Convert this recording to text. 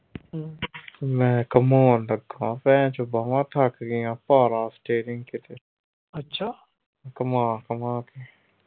ਮੈਂ ਘੁਮਾਉਣ ਲੱਗਾ ਭੈਣ ਚੋਂ ਬਾਹਾਂ ਥੱਕ ਗਈਆਂ ਭਾਰਾ steering ਖਿੱਚ ਕੇ। ਘੁੰਮਾ ਘੁੰਮਾ ਕੇ।